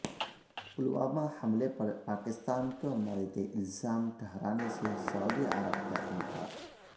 پلوامہ حملے پر پاکستان کو مورد الزام ٹھہرانے سے سعودی عرب کا انکار